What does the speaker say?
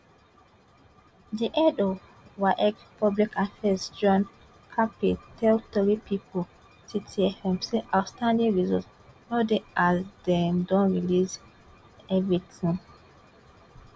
di head of waec public affairs john kapi tell tori pipo citi fm say outstanding results no dey as dem don release evritin